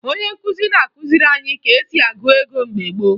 Onye nkụzi na-akụziri anyị ka e si agụ ego mgbe gboo